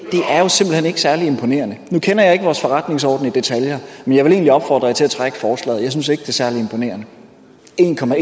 særlig imponerende nu kender jeg ikke vores forretningsorden i detaljer men jeg vil egentlig opfordre jer til at trække forslaget jeg synes ikke det er særlig imponerende